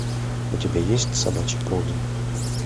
у тебя есть собачий полдень